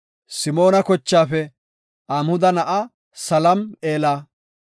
Simoona kochaafe Amhuda na7aa Salam7eela;